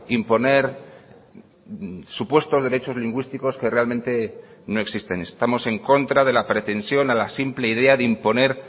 imponer supuestos derechos lingüísticos que realmente no existen estamos en contra de la pretensión a la simple idea de imponer